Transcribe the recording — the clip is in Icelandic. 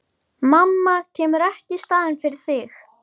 Starfi sínu vaxinn, það vantaði ekki.